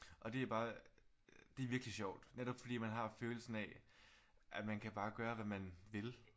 Og det er bare det er virkelig sjovt netop fordi man har følelsen af at man kan bare gøre hvad man vil